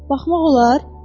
Baxmaq olar?